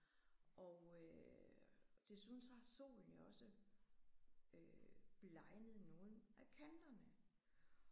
Og øh desuden så har solen jo også øh blegnet nogle af kanterne